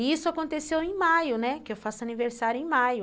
E isso aconteceu em maio, né, que eu faço aniversário em maio.